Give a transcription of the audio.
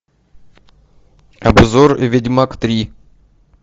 обзор ведьмак три